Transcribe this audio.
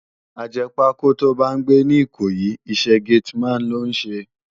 Àjèpákó tó bá n gbé ni Ikoyi, isè gétìmán ló n sé